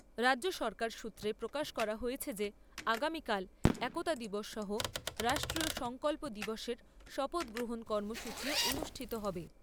রাজ্যসরকার সূত্রে প্রকাশ করা হয়েছে যে আগামীকাল একতা দিবস সহ রাষ্ট্রীয় সংকল্প দিবসের শপথগ্রহণ কার্যসূচীও অনুষ্ঠিত হবে।